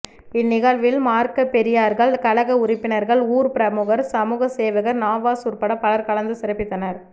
இந்நிகழ்வில் மார்க்கப்பெரியார்கள் கழக உறுப்பினர்கள் ஊர் பிரமுகர் சமூக சேவகர் நவாஸ் உற்பட பலர் கலந்து சிறப்பித்தனர்